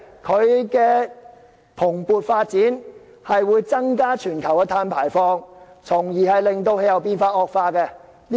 行業的蓬勃發展，會增加全球碳排放，從而令氣候變化惡化。